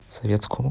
советскому